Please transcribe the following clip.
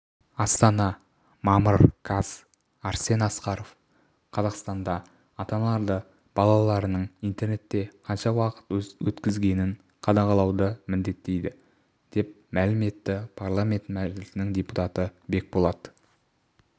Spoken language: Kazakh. астана мамыр қаз арсен асқаров қазақстанда ата-аналарды балаларының интернетте қанша уақыт өткізгенін қадағалауды міндеттейді деп мәлім етті парламент мәжілісінің депутаты бекболат